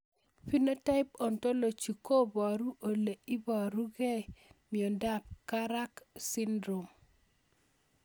Phenotype ontology koparu ole iparukei miondop Karak syndrome